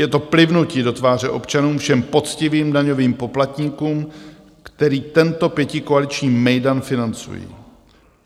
Je to plivnutí do tváře občanům, všem poctivým daňovým poplatníkům, kteří tento pětikoaliční mejdan financují.